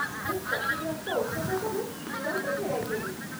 ମୁଁ କ୍ଷତିଗ୍ରସ୍ତ ଔଷଧ ସବୁ ତୁରନ୍ତ ଫେରାଇ ଦେଲି।